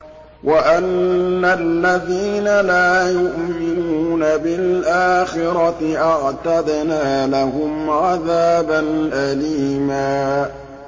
وَأَنَّ الَّذِينَ لَا يُؤْمِنُونَ بِالْآخِرَةِ أَعْتَدْنَا لَهُمْ عَذَابًا أَلِيمًا